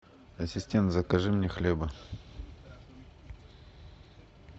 ассистент закажи мне хлеба